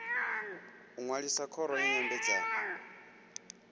u ṅwalisa khoro ya nyambedzano